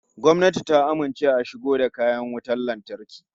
Gwamnati ta amince a shigo da kayan wutan lantarki